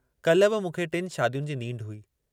काल्हि बि मूंखे टिनि शादियुनि जी नींढ हुई।